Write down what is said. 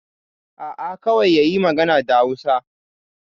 A'a, kawai yayi magana da Hausa.